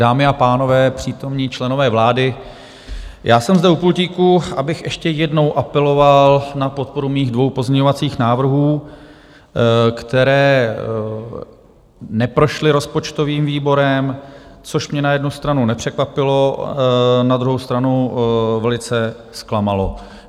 Dámy a pánové, přítomní členové vlády, já jsem zde u pultíku, abych ještě jednou apeloval na podporu svých dvou pozměňovacích návrhů, které neprošly rozpočtovým výborem, což mě na jednu stranu nepřekvapilo, na druhou stranu velice zklamalo.